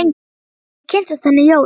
Þar til ég kynntist henni Jóru.